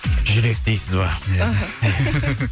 жүрек дейсіз ба іхі